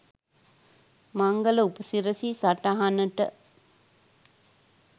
මංගල උපසිරසි සටහනට